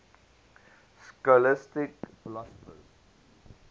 scholastic philosophers